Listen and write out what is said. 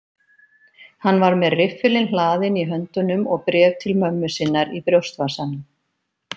Hann var með riffilinn hlaðinn í höndunum og bréf til mömmu sinnar í brjóstvasanum.